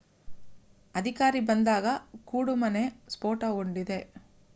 ಅಧಿಕಾರಿ ಬಂದಾಗ ಕೂಡುಮನೆ ಸ್ಫೋಟಗೊಂಡಿದೆ